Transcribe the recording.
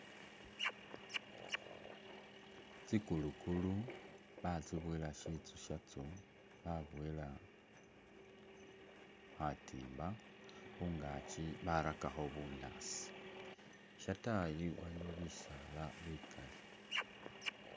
Tsikulukulu batsiboyela shiyu shatsyo baboyela khatimba khungaki barakakho bunyaasi. Shatayi waliyo bisaala bikali.